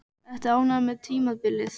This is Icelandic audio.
Ertu ánægður með tímabilið?